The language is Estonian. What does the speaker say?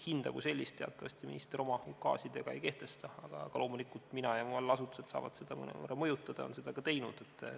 Hinda kui sellist teatavasti minister oma ukaasidega ei kehtesta, aga loomulikult mina ja mu allasutused saavad seda mõnevõrra mõjutada ja on seda ka teinud.